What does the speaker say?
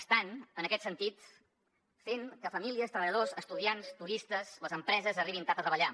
estan en aquest sentit fent que famílies treballadors estudiants turistes les empreses arribin tard a treballar